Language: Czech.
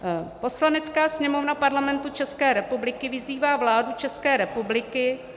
Poslanecká sněmovna Parlamentu České republiky vyzývá vládu České republiky